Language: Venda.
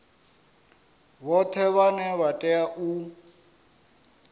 vhoṱhe vhane vha tea u